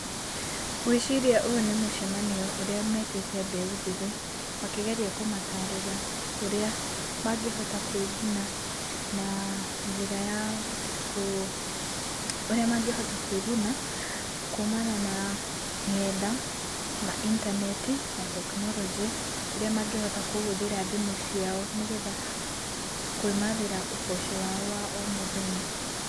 Ngwĩciria ũyũ nĩ mũcemanio ũrĩa metĩte mbeũ njĩthĩ makĩgeria kũmatarĩria ũrĩa mangĩhota kwĩgũna na njĩra ya kũ, ũrĩa mangĩhota kwĩgũna kuumana na ng'enda na intaneti na tekinoronjĩ, ũrĩa mangĩhota kũhũthĩra thimũ ciao nĩgetha kwĩmathĩra ũboco wao wa o mũthenya.